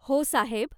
हो साहेब.